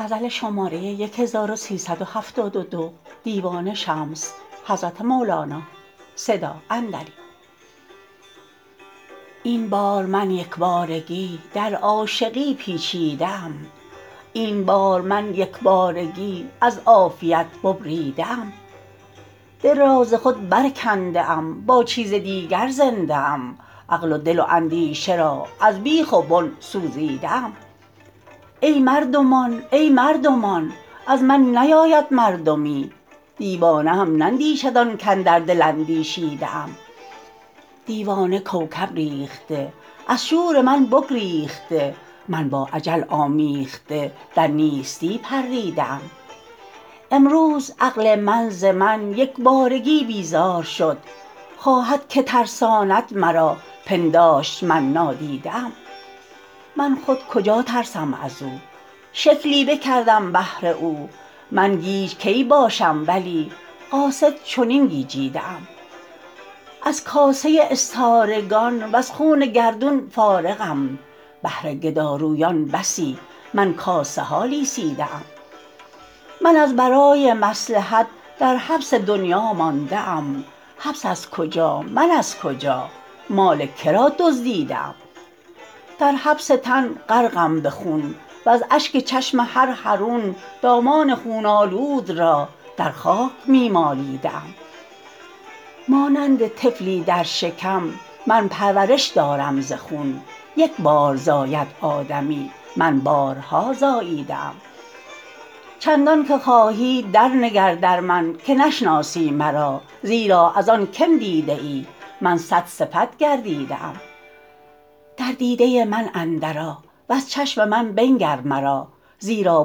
این بار من یک بارگی در عاشقی پیچیده ام این بار من یک بارگی از عافیت ببریده ام دل را ز خود برکنده ام با چیز دیگر زنده ام عقل و دل و اندیشه را از بیخ و بن سوزیده ام ای مردمان ای مردمان از من نیاید مردمی دیوانه هم نندیشد آن کاندر دل اندیشیده ام دیوانه کوکب ریخته از شور من بگریخته من با اجل آمیخته در نیستی پریده ام امروز عقل من ز من یک بارگی بیزار شد خواهد که ترساند مرا پنداشت من نادیده ام من خود کجا ترسم از او شکلی بکردم بهر او من گیج کی باشم ولی قاصد چنین گیجیده ام از کاسه استارگان وز خوان گردون فارغم بهر گدارویان بسی من کاسه ها لیسیده ام من از برای مصلحت در حبس دنیا مانده ام حبس از کجا من از کجا مال که را دزدیده ام در حبس تن غرقم به خون وز اشک چشم هر حرون دامان خون آلود را در خاک می مالیده ام مانند طفلی در شکم من پرورش دارم ز خون یک بار زاید آدمی من بارها زاییده ام چندانک خواهی درنگر در من که نشناسی مرا زیرا از آن که م دیده ای من صدصفت گردیده ام در دیده من اندرآ وز چشم من بنگر مرا زیرا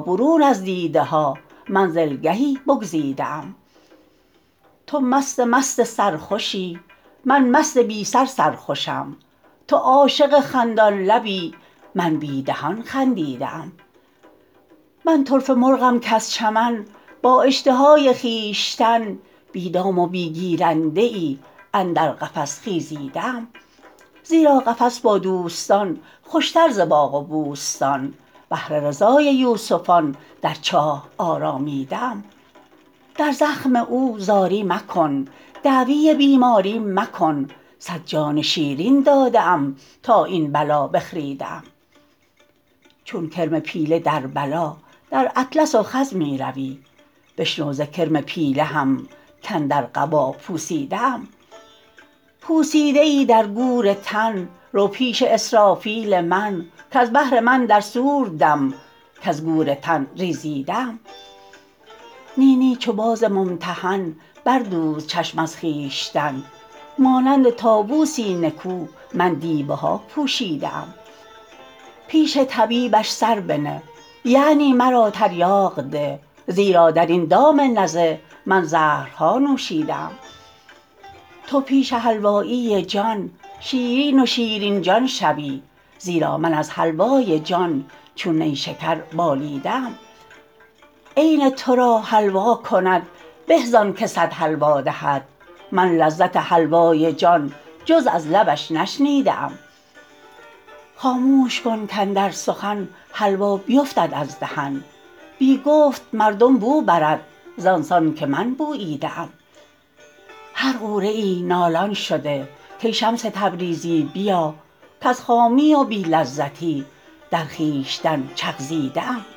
برون از دیده ها منزلگهی بگزیده ام تو مست مست سرخوشی من مست بی سر سرخوشم تو عاشق خندان لبی من بی دهان خندیده ام من طرفه مرغم کز چمن با اشتهای خویشتن بی دام و بی گیرنده ای اندر قفس خیزیده ام زیرا قفس با دوستان خوشتر ز باغ و بوستان بهر رضای یوسفان در چاه آرامیده ام در زخم او زاری مکن دعوی بیماری مکن صد جان شیرین داده ام تا این بلا بخریده ام چون کرم پیله در بلا در اطلس و خز می روی بشنو ز کرم پیله هم کاندر قبا پوسیده ام پوسیده ای در گور تن رو پیش اسرافیل من کز بهر من در صور دم کز گور تن ریزیده ام نی نی چو باز ممتحن بردوز چشم از خویشتن مانند طاووسی نکو من دیبه ها پوشیده ام پیش طبیبش سر بنه یعنی مرا تریاق ده زیرا در این دام نزه من زهرها نوشیده ام تو پیش حلوایی جان شیرین و شیرین جان شوی زیرا من از حلوای جان چون نیشکر بالیده ام عین تو را حلوا کند به زانک صد حلوا دهد من لذت حلوای جان جز از لبش نشنیده ام خاموش کن کاندر سخن حلوا بیفتد از دهن بی گفت مردم بو برد زان سان که من بوییده ام هر غوره ای نالان شده کای شمس تبریزی بیا کز خامی و بی لذتی در خویشتن چغزیده ام